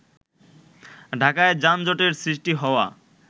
ঢাকায় যানজটের সৃষ্টি হওয়া